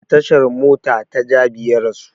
A tashan mota ta jabi ya rasu